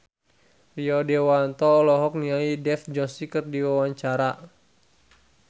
Rio Dewanto olohok ningali Dev Joshi keur diwawancara